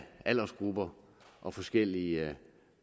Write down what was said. aldersgrupper og forskellige